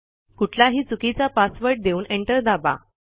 कुठलाही चुकीचा पासवर्ड देऊन एंटर दाबा